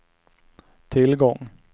tillgång